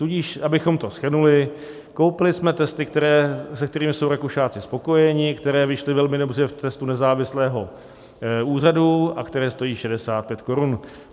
Tudíž abychom to shrnuli, koupili jsme testy, se kterými jsou Rakušáci spokojeni, které vyšly velmi dobře v testu nezávislého úřadu a které stojí 65 korun.